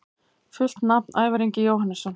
Fullt nafn: Ævar Ingi Jóhannesson